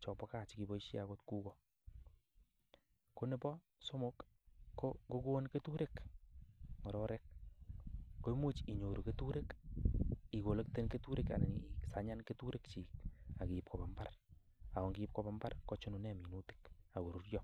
chebo gaa chepoishe akot kuko. Ko nebo somok, ko ngokon keturek ngororek komuch inyoru keturek, ikolekten anan isanyan keturek chi ak kiip koba imbaar ako ngiip koba imbaar kochunen minutik ako ruryo.